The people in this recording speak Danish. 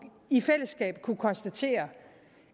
i fællesskab kunne konstatere